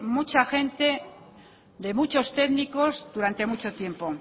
mucha gente de muchos técnicos durante mucho tiempo